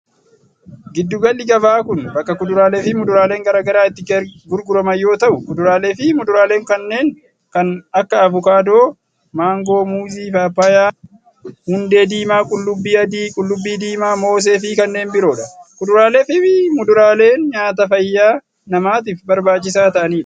Giddu galli gabaa kun, bakka kuduraalee fi muduraaleen garaa garaa itti gurguraman yoo ta'u, kuduraalee fi muduraaleen kunneen kan akka:avokaadoo, maangoo, muuzii, paappayyaa, hundee diimaa, qullubbii adii, qullubbii diimaa, moosee fi kanneen biroo dha. Kuduraalee fi muduraaleen nyaata fayyaa namaatif barbaachisaa ta'anii dha.